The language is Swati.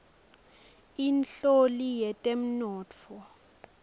inhloli yetemnotfo